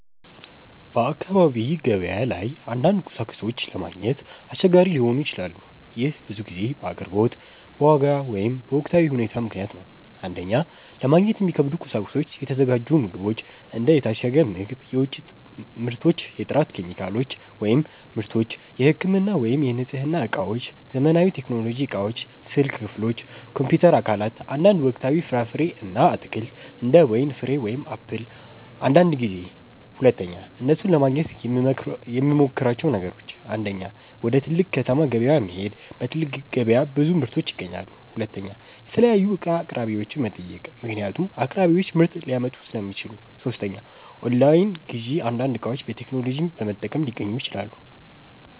በአካባቢ ገበያ ላይ አንዳንድ ቁሳቁሶች ለማግኘት አስቸጋሪ ሊሆኑ ይችላሉ። ይህ ብዙ ጊዜ በአቅርቦት፣ በዋጋ ወይም በወቅታዊ ሁኔታ ምክንያት ነው። 1) ለማግኘት የሚከብዱ ቁሳቁሶች የተዘጋጁ ምግቦች እንደ የታሸገ ምግብ፣ የውጭ ምርቶች የጥራት ኬሚካሎች / ምርቶች የህክምና ወይም የንጽህና እቃዎች ዘመናዊ ቴክኖሎጂ እቃዎች ስልክ ክፍሎች፣ ኮምፒውተር አካላት አንዳንድ ወቅታዊ ፍራፍሬ እና አትክልት እንደ ወይን ፍሬ ወይም አፕል አንዳንድ ጊዜ 2) እነሱን ለማግኘት የምመሞክራቸው ነገሮች 1. ወደ ትልቅ ከተማ ገበያ መሄድ በትልቅ ገበያ ብዙ ምርቶች ይገኛሉ 2. የተለያዩ እቃ አቅራቢዎችን መጠየቅ ምክንያቱም አቅራቢዎች ምርት ሊያመጡ ሥለሚችሉ 3. ኦንላይን ግዢ አንዳንድ እቃዎች በቴክኖሎጂ በመጠቀም ሊገኙ ይችላሉ